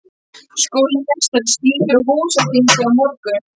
Skólameistari skýtur. á húsþingi á morgun.